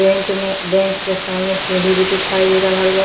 Bank में bank के सामने सीढ़ी भी दिखाई दे रहल बा।